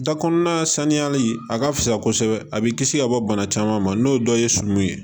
Da kɔnɔna saniyali a ka fisa kosɛbɛ a bɛ kisi ka bɔ bana caman ma n'o dɔ ye sumanw ye